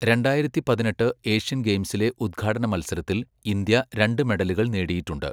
രണ്ടായിരത്തി പതിനെട്ട് ഏഷ്യൻ ഗെയിംസിലെ ഉദ്ഘാടന മത്സരത്തിൽ ഇന്ത്യ രണ്ട് മെഡലുകൾ നേടിയിട്ടുണ്ട്.